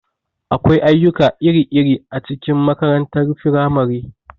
Akwai ayyuka iri-iri a cikin makarantar firamare.